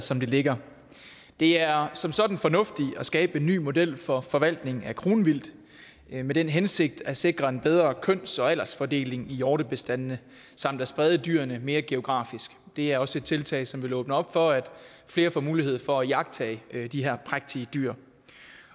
som det ligger det er som sådan fornuftigt at skabe en ny model for forvaltningen af kronvildt med den hensigt at sikre en bedre køns og aldersfordeling i hjortebestandene samt at sprede dyrene mere geografisk det er også et tiltag som vil åbne op for at flere får mulighed for at iagttage de her prægtige dyr